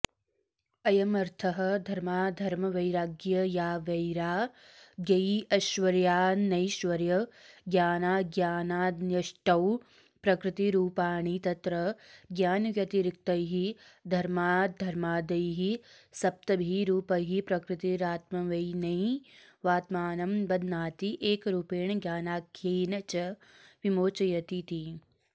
अयमर्थः धर्माधर्मवैराग्यावैराग्यैश्वर्यानैश्वर्यज्ञानाज्ञानान्यष्टौ प्रकृतिरूपाणि तत्र ज्ञानव्यतिरिक्तैः धर्माधर्माद्यैः सप्तभी रूपैः प्रकृतिरात्मनैवात्मानं बध्नाति एकरूपेण ज्ञानाख्येन च विमोचयतीति